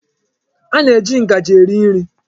A na-eji ngaji eri nri.